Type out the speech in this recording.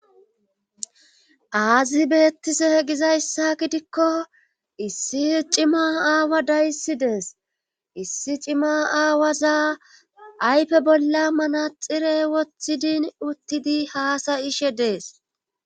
Aazi beettise gizayssa gidikko issi cima aawa dayssi dees issi cima aawazaa ayfe bolla manaxire woththidin uttidi haasayishe dees